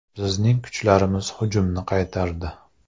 Bizning kuchlarimiz hujumni qaytardi.